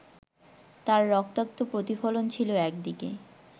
তার রক্তাক্ত প্রতিফলন ছিল একদিকে